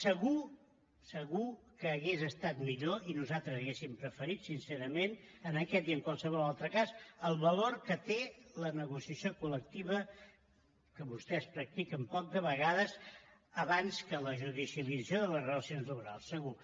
segur segur que hauria estat millor i nosaltres ho hauríem preferit sincerament en aquest i en qualsevol altre cas el valor que té la negociació col·lectiva que vostès practiquen poc de vegades abans que la judicialització de les relacions laborals segur